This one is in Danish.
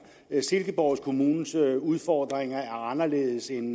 silkeborg kommunes udfordringer er anderledes end